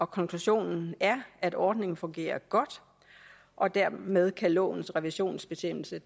konklusionen er at ordningen fungerer godt og dermed kan lovens revisionsbestemmelse